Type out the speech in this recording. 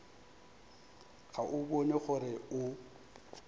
ga o bone gore o